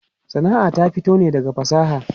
Sana'a ta fito ne daga fasaha.